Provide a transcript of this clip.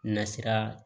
Nasira